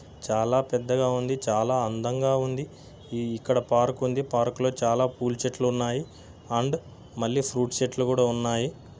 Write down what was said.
చాలా పెద్దగా ఉంది. చాలా అందంగా ఉంది. ఇ-ఇక్కడ పార్క్ ఉంది. పార్క్ లో చాలా పూల చెట్లున్నాయి అండ్ మళ్ళీ ఫ్రూట్ చెట్లు కూడా ఉన్నాయి.